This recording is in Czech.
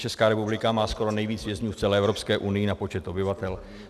Česká republika má skoro nejvíc vězňů v celé Evropské unii na počet obyvatel.